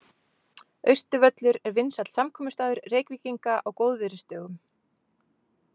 Austurvöllur er vinsæll samkomustaður Reykvíkinga á góðviðrisdögum.